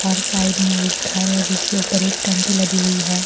और साइड में एक घर है जिसके ऊपर एक टंकी लदी हुई है।